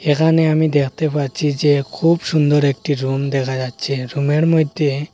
এখানে আমি দেখতে পাচ্ছি যে খুব সুন্দর একটি রুম দেখা যাচ্ছে রুমের মইধ্যে--